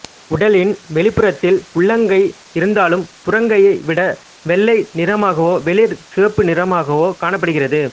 உடலின் வெளிப்புறத்தில் உள்ளங்கை இருந்தாலும் புறங்கையை விட வெள்ளை நிறமாகவோ வெளிர் சிவப்பு நிறமாகவோக் காணப்படுகிறது